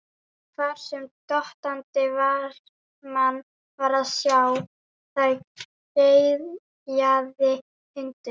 Hvar sem dottandi varðmann var að sjá, þar geyjaði hundur.